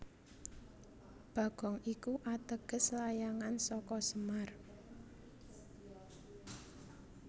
Bagong iku ateges layangan saka semar